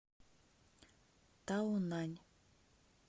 таонань